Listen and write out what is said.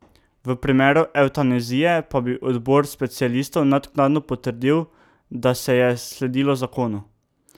V primeru evtanazije pa bi odbor specialistov naknadno potrdil, da se je sledilo zakonu.